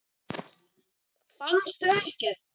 Fannstu ekkert?